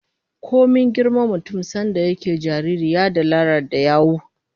Komai girman mutum, sanda yana jariri ya dalalar da yawu